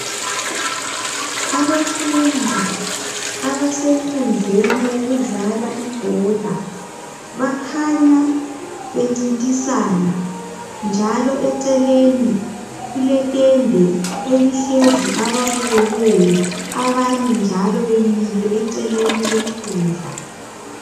Ababfundi abasenkundleni yokudlala ibhola bakhanya bencintisana njalo eceleni kuletende elihlezi ababukeleyo abanye njalo bemile eceleni kwenkundla